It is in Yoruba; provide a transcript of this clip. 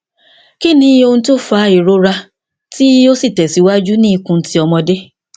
ki ni ohun ti o fa irora ti o tesiwaju ni ikun ti omode